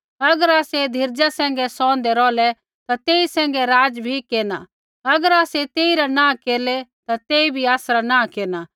अगर आसै धीरज़ा सैंघै सौहंदै रौहलै ता तेई सैंघै राज़ भी केरना अगर आसै तेइरा नाँह केरलै ता तेई बी आसरा नाँह केरना